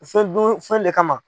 selidon fɛn de kama.